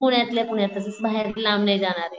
पुण्यातल्या पुण्यातच बाहेर लांब नाही जाणारे.